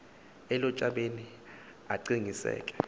elu tshabeni aqiniseke